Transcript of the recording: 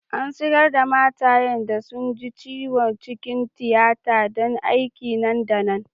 An sigar' da matayen da sun ji ciwo cikin tiyata dan aiki nan da nan.